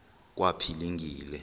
kwaphilingile